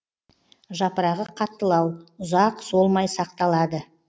жапырағы қаттылау ұзақ солмай сақталады